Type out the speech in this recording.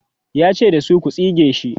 yace da su,"ku tsige sh!"